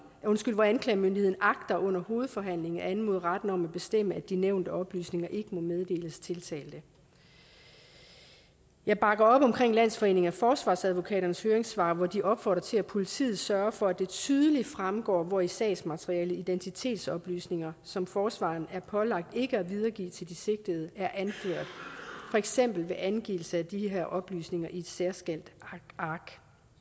hvor anklagemyndigheden agter under hovedforhandlingen at anmode retten om at bestemme at de nævnte oplysninger ikke må meddeles tiltalte jeg bakker op om landsforeningen af forsvarsadvokaters høringssvar hvor de opfordrer til at politiet sørger for at det tydeligt fremgår hvor i sagsmaterialet identitetsoplysninger som forsvareren er pålagt ikke at videregive til sigtede er anført for eksempel ved angivelse af de her oplysninger på et særskilt ark